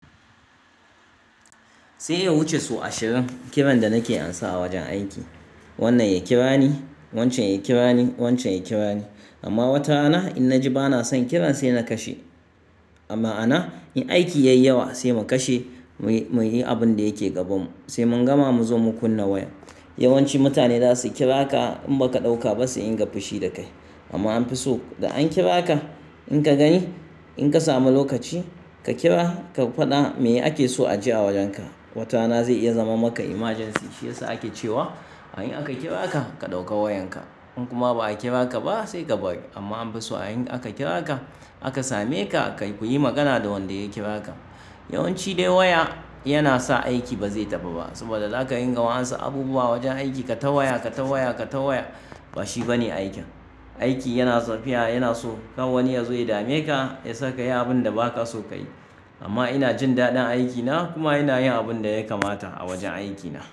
Sai ya wuce su ashirin kiran da nake amsa a wajen aiki. Wannan ya kira ni, wancan ya kira ni, wancan ya kira ni. Amma wata rana in na ji ba na son kiran sai na kashe. A ma'ana yin aiki yayawa sai mu kashe, mu yi abin da yake gabanmu sai mun gama mu zo mu kunna waya. Yawanci mutane za su kira ka in ba ka ɗauka ba sai in ga fushi da kai. Amma an fi so da an kira ka, in ka gani, in ka samu lokaci ka kira ka faɗa me ake so a ji a wajenka. Wata rana zai iya zama maka emergency shiyasa ake cewa in aka kira ka, ka ɗauka wayanka. In kuma ba a kira ka ba sai ka bari. Amma an fi so a in aka kira ka aka same ka, ku yi magana da wanda ya kira ka. Yawanci dai waya yana sa aiki ba zai tafi ba saboda za ka ringa wa ansan abubuwa wajen aiki. Ka ta waya, ka ta waya, ka ta waya ba shi bane aikin. Aiki yana tafiya yana so ka wani ya zo ya dame ka ya saka ka yi abin da ba ka so ka yi. Amma ina jin daɗin aikina kuma ina yin abin da ya kamata a wajen aikina.